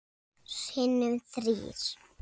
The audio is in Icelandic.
Sinnum þrír.